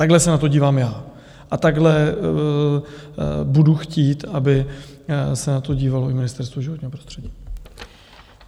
Takhle se na to dívám já a takhle budu chtít, aby se na to dívalo i Ministerstvo životního prostředí.